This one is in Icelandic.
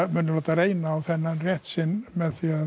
muni láta reyna á þennan rétt sinn með því